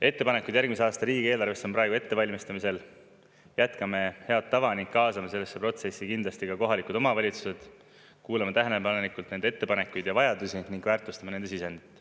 Ettepanekud järgmise aasta riigieelarvesse on praegu ettevalmistamisel, jätkame head tava ning kaasame sellesse protsessi kindlasti ka kohalikud omavalitsused, kuulame tähelepanelikult nende ettepanekuid ja vajadusi ning väärtustame nende sisendit.